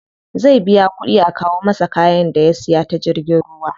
Zai biya kuɗi a kawo masa kayan da ya siya ta jirgin ruwa.